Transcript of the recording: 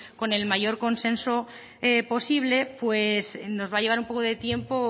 con el mayor consenso posible pues nos va a llevar un poco de tiempo